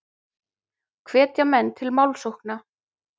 Hvetja menn til málsókna